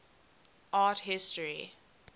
art history